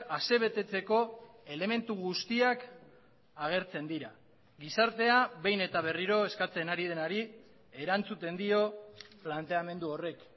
asebetetzeko elementu guztiak agertzen dira gizartea behin eta berriro eskatzen ari denari erantzuten dio planteamendu horrek